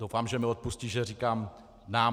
Doufám, že mi odpustí, že říkám "nám".